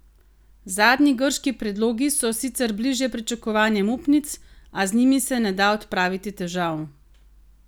Zadnji grški predlogi so sicer bliže pričakovanjem upnic, a z njimi se ne da odpraviti težav.